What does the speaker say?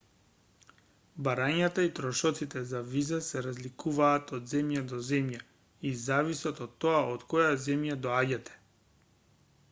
барањата и трошоците за виза се разликуваат од земја до земја и зависат од тоа од која земја доаѓате